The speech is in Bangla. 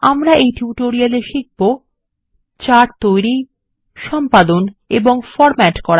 আমরা এই টিউটোরিয়ালে শিখব160 চার্ট তৈরি সম্পাদন এবং ফরম্যাট করা